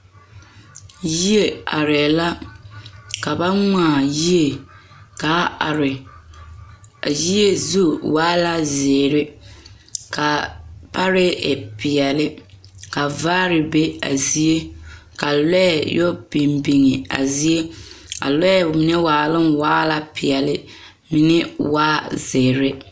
Yie arɛɛ la ka ba ŋmaa yie kaa are a yie zu waa la zeere ka parɛɛ e peɛle ka vaare be a zie ka lɔɛ yɛ biŋ biŋ a zie a lɔɛ mine waaloŋ waa la peɛle mine waa zeere.